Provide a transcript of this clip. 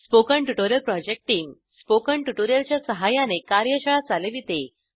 spoken tutorial project team spoken tutorial च्या सहाय्याने कार्यशाळा चालविते